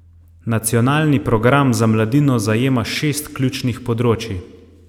Nacionalni program za mladino zajema šest ključnih področij.